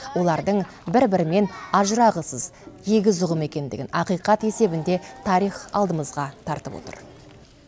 олардың бір бірімен ажырағысыз егіз ұғым екендігін ақиқат есебінде тарих алдымызға тартып отыр